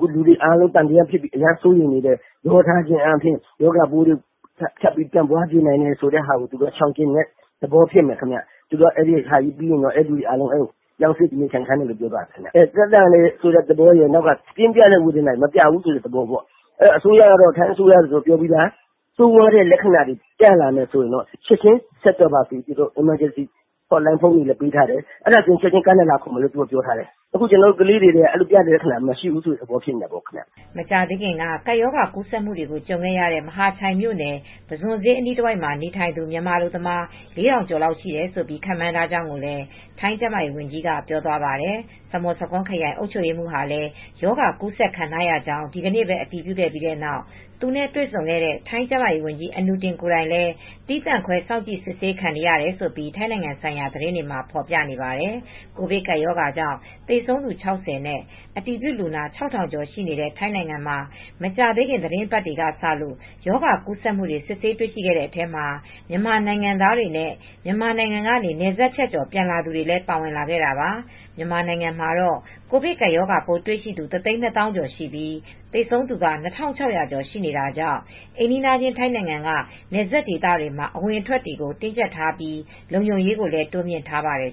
လူတွေအားလုံးသံသယဖြစ်ပြီး စိုးရိမ်နေတဲ့ ရောထားခြင်းအားဖြင့် ရောဂါပိုးတွေ ကူးစက်မှုတွေဖြစ်မှာ စိုးရိမ်တာကို ရှောင်ကြဉ်တဲ့သဘောဖြစ်မယ်။ အဲဒီ ဆေးရုံပြီးရင် အဲဒီမှာ ထားပြီးပြောင်းရွှေ့နေထိုင်းခိုင်းမယ်ပြောတယ်။ သက်သာနေတယ်ဆိုတဲ့သဘောရင် ပြင်းပတဲ့ဝေဒနာတွေ မပြဘူးဆိုတဲ့သဘောပေါ့။ ဆိုးဝါးတဲ့လက္ခဏာဆိုရင် ချက်ချင်းဆက်သွယ်ပါ အရေးပေါ် ဖုန်းတွေပေးထားတယ်။ ချက်ချင်းလာခေါ်မယ်ပြောတယ်။ ကျနော်တို့ကလေးတွေ (အလုပ်သမားတွေ) အဲဒီလိုမပြဘူးဆိုတဲ့သဘောပေါ့။" မကြာသေးခင်က ကပ်ရောဂါကူးစက်မှုတွေ ကြုံခဲ့ရတဲ့ မဟာချိုင်မြို့နယ် ပုဇွန်ဈေးအနီးတဝိုက် နေထိုင်သူ မြန်မာအလုပ်သမား ၄,၀၀၀ ကျော်လောက်ရှိတယ်လို့ ခန့်မှန်းထားကြောင်းလည်း ထိုင်းကျန်းမာရေးဝန်ကြီးက ပြောပါတယ်။ ဆာမွန်ဆာခွန်ခရိုင် အုပ်ချုပ်ရေးမှူးဟာလည်း ရောဂါကူးစက်ခံခဲ့ရကြောင်း ဒီကနေ့ပဲ အတည်ပြုခဲ့ပြီးနောက် သူနဲ့တေ့ွဆုံခဲ့တဲ့ ထိုင်းကျန်းမာရေးဝန်ကြီး အနုတင် ကိုယ်တိုင်လည်း သီးသန့်ခွဲ စောင့်ကြည့်စစ်ဆေး ခံနေရတယ်လို့ ထိုင်းနိုင်ငံဆိုင်ရာသတင်းတွေက ဖော်ပြပါတယ်။ ကိုဗစ်ကပ်ရောဂါကြောင့် သေဆုံးသူ ၆၀ နဲ့ အတည်ပြုလူနာ ၆,၀၀၀ ကျော်ရှိတဲ့ ထိုင်းနိုင်ငံမှာ မကြာသေးခင် သီတင်းပတ်တွေကစလို့ ရောဂါကူးစက်မှုတွေ စစ်ဆေးတွေ့ရှိခဲ့တဲ့အထဲမှာ မြန်မာနိုင်ငံသားတွေနဲ့ မြန်မာနိုင်ငံကနေ နယ်စပ်ဖြတ်ကျော် ပြန်လာသူတွေလည်း ပါဝင်လာခဲ့တာပါ။ မြန်မာနိုင်ငံမှာတော့ ကိုဗစ်ကပ်ရောဂါပိုးတွေ့ရှိသူ ၁၂၀,၀၀၀ ကျော်ရှိပြီး သေဆုံးသူက ၂,၆၀၀ ကျော်ရှိနေတာကြောင့် အိမ်နီးချင်း ထိုင်းနိုင်ငံက နယ်စပ်ဒေသတွေမှာ အဝင်အထွက်တွေကို တင်းကြပ်ထားပြီး လုံခြုံရေးကိုလည်း တိုးမြှင့်ထားပါတယ်